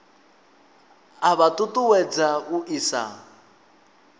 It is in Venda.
a vha ṱuṱuwedza u isa